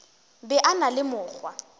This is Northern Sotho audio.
be a na le mokgwa